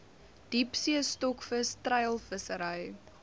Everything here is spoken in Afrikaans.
diepsee stokvis treilvissery